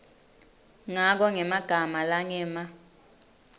ngako ngemagama langema